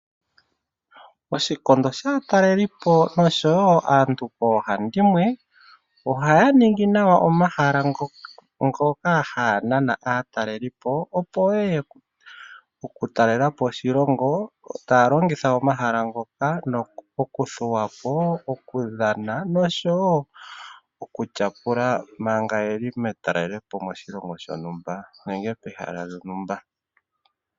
Oshikondo shaatalelipo oshowo aantu koohandimwe, ohaya ningi nawa omahala ngoka haya nana aatalelipo, opo ye ye ya talele po oshilongo taya longitha omahala ngoka okuthuwa po, okudhana noshowo oku tyapula manga ye li metalelopo moshilongo shontumba nenge mehala lyontumba.